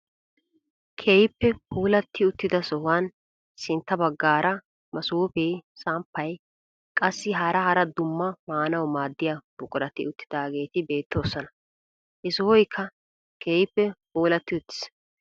Keehippe puulatti uttida sohuwaan sintta baggaara masoofee samppay qassi hara hara qumaa maanawu maaddiyaa buqurati uttidaageti beettoosona. he sohoykka keehippe puulatti uttiis.